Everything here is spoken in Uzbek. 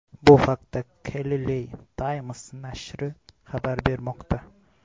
Bu haqda Khaleej Times nashri xabar bermoqda .